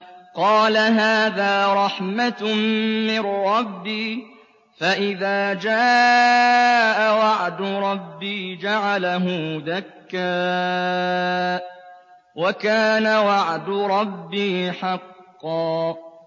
قَالَ هَٰذَا رَحْمَةٌ مِّن رَّبِّي ۖ فَإِذَا جَاءَ وَعْدُ رَبِّي جَعَلَهُ دَكَّاءَ ۖ وَكَانَ وَعْدُ رَبِّي حَقًّا